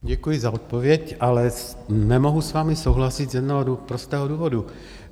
Děkuji za odpověď, ale nemohu s vámi souhlasit z jednoho prostého důvodu.